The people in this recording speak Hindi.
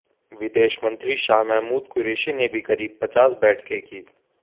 विदेश मंत्री शाह महमूद कुरैशी ने भी करीब पचास बैठकें कीं